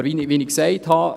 Aber wie ich gesagt habe: